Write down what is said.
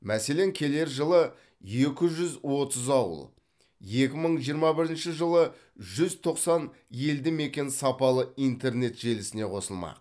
мәселен келер жылы екі жүз отыз ауыл екі мың жиырма бірінші жылы жүз тоқсан елді мекен сапалы интернет желісіне қосылмақ